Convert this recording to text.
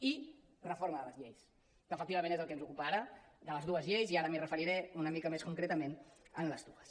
i reforma de les lleis que efectivament és el que ens ocupa ara de les dues lleis i ara m’hi referiré una mica més concretament en les dues